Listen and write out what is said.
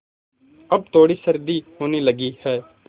अब थोड़ी सर्दी होने लगी है